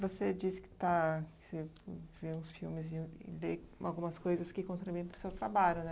Você disse que está... que você vê os filmes e lê algumas coisas que contribuem para o seu trabalho, né?